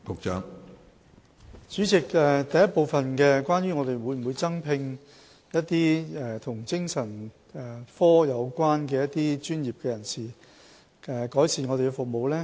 主席，問題的第一部分是關於當局會否增聘一些與精神科有關的專業人士，以改善服務。